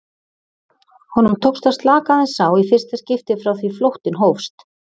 Honum tókst að slaka aðeins á í fyrsta skipti frá því flóttinn hófst.